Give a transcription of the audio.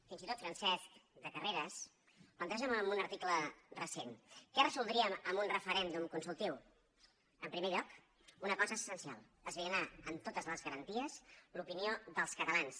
fins i tot francesc de carreras planteja en un article recent què resoldríem amb un referèndum consultiu en primer lloc una cosa essencial esbrinar amb totes les garanties l’opinió dels catalans